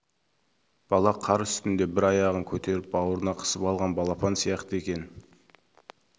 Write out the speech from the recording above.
бала қар үстінде бір аяғын көтеріп бауырына қысып алған балапан сияқты екен